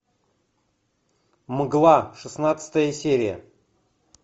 мгла шестнадцатая серия